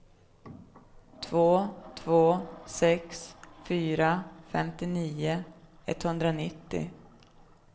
två två sex fyra femtionio etthundranittio